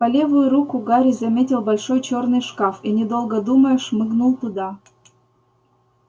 по левую руку гарри заметил большой чёрный шкаф и недолго думая шмыгнул туда